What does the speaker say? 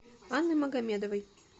анны магомедовой